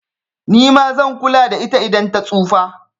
Nima zan kula da ita idan ta tsufa